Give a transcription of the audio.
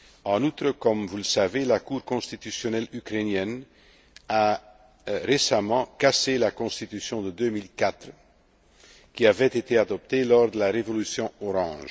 d'association. En outre, comme vous le savez, la Cour constitutionnelle ukrainienne a récemment cassé la constitution de 2004, qui avait été adoptée lors de la Révolution